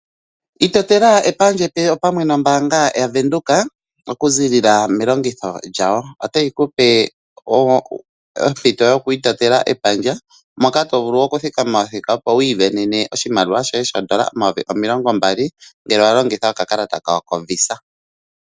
Itotela epandja epe opamwe nombaanga yavenduka okuziilila melongitho lyawo, otayi kupe ompito yokwii totela epandja moka to vulu okuthikama othika opo wii dhanene oshimaliwa shoye $20000 ngele wa longitha okakalata kawo kovisa.